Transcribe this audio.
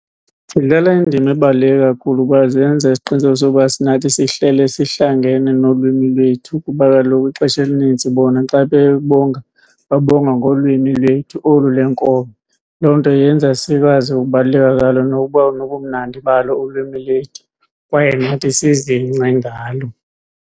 Zidlala indima ebaluleke kakhulu kuba zenza isiqiniseko soba nathi sihlale sihlangene nolwimi lwethu kuba kaloku ixesha elinintsi bona xa bebonga babonga ngolwimi lwethu olu lwenkobe. Loo nto yenza sikwazi ukubaluleka kwalo nokuba nobumnandi balo ulwimi lwethu kwaye nathi sizingce ngalo.